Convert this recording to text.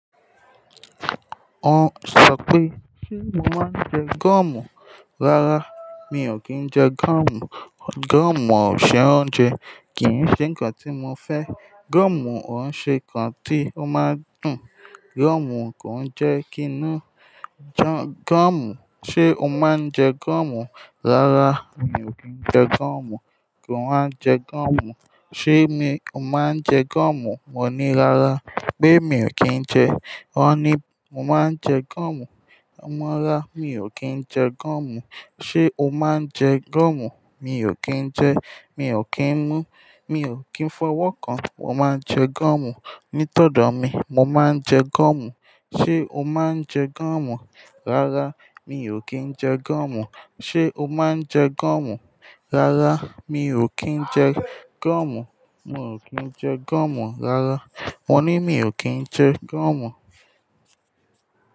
Wọ́n sọ pé, "Ṣé mo máa ń jẹ goọ̀mù?" Rárá, mi ò kí ń jẹ gúọ̀mù. Goọ̀mù ò n ṣe oúnjẹ, kì í n ṣe nǹkan tí mo fẹ́. Goọ̀mù ò ṣe kan tí ó máa ń dùn. Goọ̀mù kò ń jẹ́ kí inú jọ. Goọ̀mù, ṣe o máa ń jẹ goọ̀mù? Rárá, mi ò kí ń jẹ gúọ̀mù. Kò máa ń jẹ goọ̀mù. Ṣé mi ò máa ń jẹ goomù? Mo ni rara. Pe mi ò kí ń jẹ. Wọ́n ní, Mo máa ń jẹ goọ̀mù. Rárá, mi ò kí ń jẹ gúọ̀mù. Ṣé o máa ń jẹ gúọ̀mù? Mi ò kí ń jẹ, mi ò kí ń mú, mi ò kí ń fọwọ́ kan. Mo máa ń jẹ goomù. Nítọ̀dọ̀ mi, mo máa ń jẹ goọ̀mù. Ṣé o máa ń jẹ gúọ̀mù? Rárá, mi ò kí ń jẹ gúọ̀mù. Ṣé o máa ń jẹ gúọ̀mù? Rárá, mi ò kí ń jẹ gúọ̀mù. Mo ò kí ń jẹ goomù rara. Mo ní mi ò kí ń jẹ goọ̀mù.